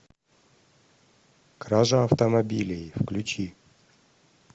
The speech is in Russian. кража автомобилей включи